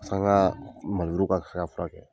n ka maneburu ka se ka furakɛ.